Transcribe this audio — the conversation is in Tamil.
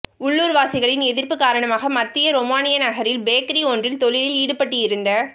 உள்ளூர்வாசிகளின் எதிர்ப்பு காரணமாக மத்திய ரொமானிய நகரில் பேக்கரி ஒன்றில் தொழிலில் ஈடுபட்டிருந்த